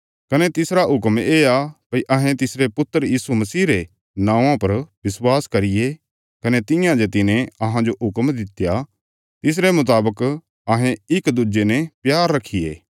कने तिसरा हुक्म येआ भई अहें तिसरे पुत्र यीशु मसीह रे नौआं पर विश्वास करिये कने तियां जे तिने अहांजो हुक्म दित्या तिसरे मुतावक अहें इक दुज्जे ने प्यार रखिये